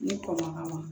Ni kɔn ma k'a ma